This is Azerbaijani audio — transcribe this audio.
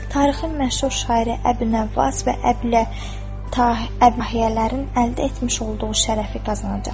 Tarixin məşhur şairi Əbül-Nəvvas və Əbül-Ətahiyyələrin əldə etmiş olduğu şərəfi qazanacaqsan.